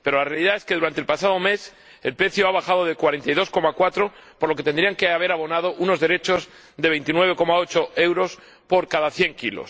Pero la realidad es que durante el pasado mes el precio ha bajado de 42,4 euros, por lo que tendrían que haber abonado unos derechos de 29,8 euros por cada 100 kg.